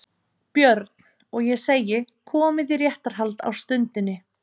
BJÖRN: Og ég segi: Komið í réttarhald á stundinni